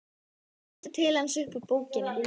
Hún lítur til hans upp úr bókinni.